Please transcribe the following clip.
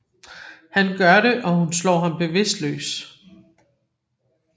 Han gør det og hun slår ham bevidstløs